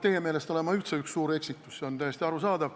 Teie meelest olen ma üldse üks suur eksitus, see on täiesti arusaadav.